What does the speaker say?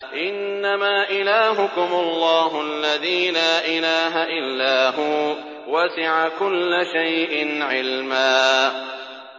إِنَّمَا إِلَٰهُكُمُ اللَّهُ الَّذِي لَا إِلَٰهَ إِلَّا هُوَ ۚ وَسِعَ كُلَّ شَيْءٍ عِلْمًا